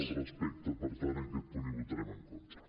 al respecte per tant en aquest punt hi votarem en contra